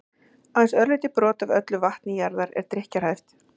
aðeins örlítið brot af öllu vatni jarðar er drykkjarhæft